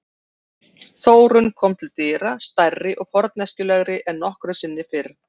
Þórunn kom til dyra, stærri og forneskjulegri en nokkru sinni fyrr.